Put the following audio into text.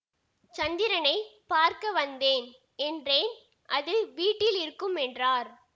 சந்திரனை பார்க்க வந்தேன் என்றேன் அது வீட்டில் இருக்கும் என்றார்